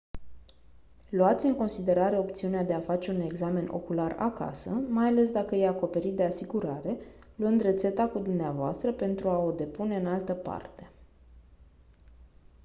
luați în considerare opțiunea de a face un examen ocular acasă mai ales dacă e acoperit de asigurare luând rețeta cu dvs pentru a o depune în altă parte